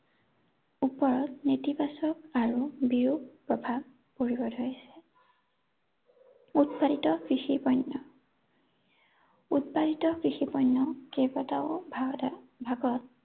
ওপৰত নেতিবাচক আৰু বিৰোপ প্ৰভাৱ পৰিব ধৰিছে। উৎপাদিত কৃষি পণ্য় উৎপাদিত কৃষি পণ্য় কেইবাটাও ভাগ, ভাগত